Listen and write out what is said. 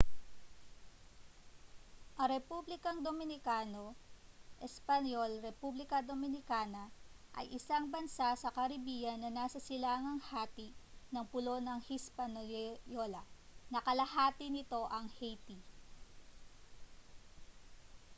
ang republikang dominikano espanyol: repãºblica dominicana ay isang bansa sa caribbean na nasa silangang hati ng pulo ng hispaniola na kahati nito ang haiti